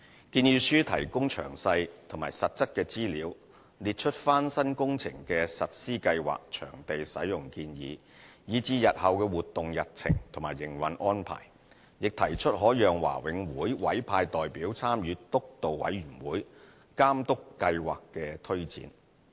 建議書提供詳細和實質的資料，列出翻新工程的實施計劃、場地使用建議，以至日後的活動日程及營運安排，亦提出可讓華永會委派代表參與督導委員會，監督計劃的推展。